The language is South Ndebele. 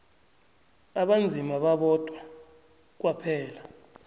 abanzima babodwa kwaphela